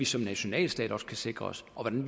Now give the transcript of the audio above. som nationalstat også kan sikre sig og hvordan